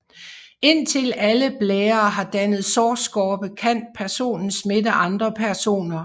Indtil alle blærer har dannet sårskorpe kan personen smitte andre personer